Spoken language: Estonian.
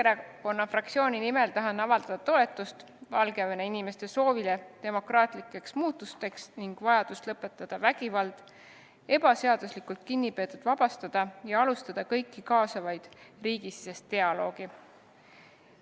Tahan Keskerakonna fraktsiooni nimel avaldada toetust Valgevene inimeste soovile demokraatlike muutuste toimumiseks ning vajadusele lõpetada vägivald, vabastada ebaseaduslikult kinnipeetavad isikud ja alustada kõiki kaasavat riigisisest dialoogi.